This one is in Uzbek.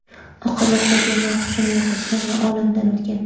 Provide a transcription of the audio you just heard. Oqibatda bemor hushini yo‘qotgan va olamdan o‘tgan.